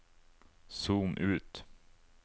zoom ut